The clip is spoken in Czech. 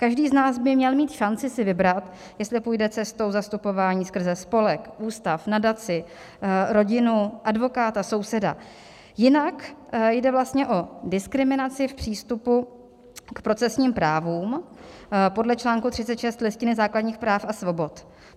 Každý z nás by měl mít šanci si vybrat, jestli půjde cestou zastupování skrze spolek, ústav, nadaci, rodinu, advokáta, souseda, jinak jde vlastně o diskriminaci v přístupu k procesním právům podle článku 36 Listiny základních práv a svobod.